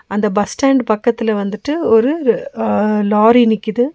அந்த bus stand பக்கத்துல வந்துட்டு ஒரு அ லாரி நிக்குது.